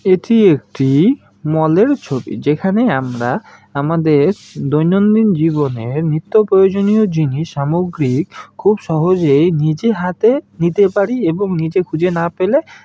এটি একটি মলের ছবি যেখানে আমরা আমাদের দৈনন্দিন জীবনে নিত্যপ্রয়োজনীয় জিনিস সামগ্রিক খুব সহজেই নিজে হাতে নিতে পারি এবং নিজে খুঁজে না পেলে--